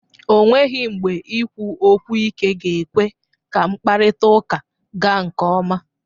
O nweghi mgbe ikwu okwu ike ga-ekwe ka mkparịtaụka gaa nke ọma.